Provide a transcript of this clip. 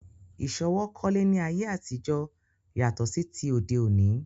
Ìsọwọ́ kólé ni ayé àtijọ́ yàtọ̀ sí ti òde òní